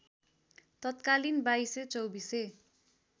तत्कालीन बाइसे चौबीसे